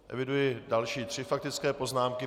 Eviduji další tři faktické poznámky.